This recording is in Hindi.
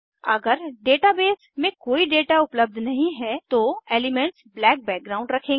अगर डेटाबेस में कोई डेटा उपलब्ध नहीं है तो एलीमेन्ट्स ब्लैक बैकग्राउंड रखेंगे